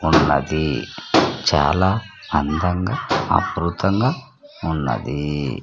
ఉన్నది చాలా అందంగా ఆకృతంగా ఉన్నది.